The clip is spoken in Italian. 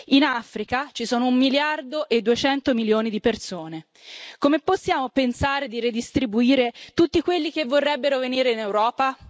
In Africa ci sono un miliardo e duecento milioni di persone, come possiamo pensare di redistribuire tutti quelli che vorrebbero venire in Europa?